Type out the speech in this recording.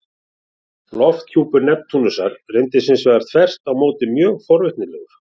Lofthjúpur Neptúnusar reyndist hins vegar þvert á móti mjög forvitnilegur.